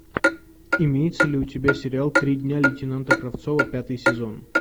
имеется ли у тебя сериал три дня лейтенанта кравцова пятый сезон